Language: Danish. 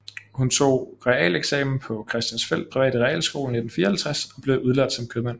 Hun tog realeksamen fra Christiansfeld Private Realskole i 1954 og blev udlært som købmand